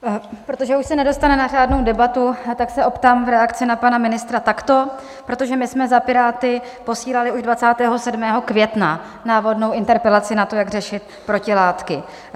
Protože už se nedostane na řádnou debatu, tak se optám v reakci na pana ministra takto, protože my jsme za Piráty posílali už 27. května návodnou interpelaci na to, jak řešit protilátky.